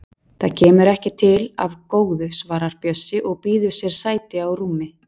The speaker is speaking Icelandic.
Það kemur ekki til af góðu, svarar Bjössi og býður sér sæti á rúmi